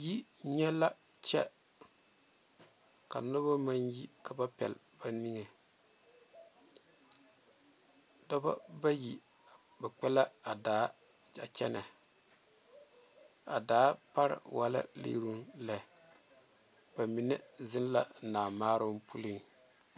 Yinyɛ la kyɛ ka noba maŋ yi ka ba pɛle ba niŋe dɔba bayi kpɛ la a daa poɔ kyɛ kyɛne a daa pare e la lieruŋ ba mine zeŋ la a naa maaroŋ.